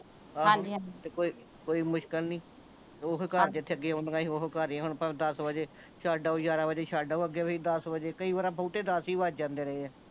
ਆਹੋ ਹਾਂਜੀ ਹਾਂਜੀ ਤੇ ਕੋਈ ਮੁਸ਼ਕਿਲ ਨਹੀਂ ਓਹੋ ਘਰ ਈ ਏ ਜਿੱਥੇ ਆਉਂਦੀਆਂ ਸੀ ਓਹੋ ਘਰ ਹੀ ਆ ਹੁਣ ਭਾਂਵੇ ਦੱਸ ਵਜੇ ਛੱਡ ਆਓ ਯਾਰਾਂ ਵਜੇ ਛੱਡ ਆਓ ਅੱਗੇ ਵੀ ਦੱਸ ਵਜੇ ਕਈ ਵਾਰੀ ਆਪਾਂ ਨੂੰ ਓਥੇ ਦੱਸ ਹੀ ਵੱਜ ਜਾਂਦੇ ਰਹੇ ਆ